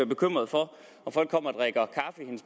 bekymret for om folk kommer